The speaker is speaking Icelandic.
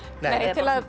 nei